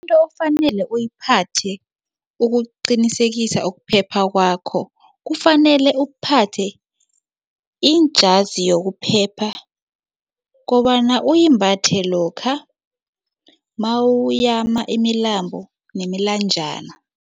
Into okufanele uyiphathe ukuqinisekisa ukuphepha kwakho kufanele uphathe iinjazi yokuphepha kobana uyimbathe lokha nawuyama imilambo nemilanjana.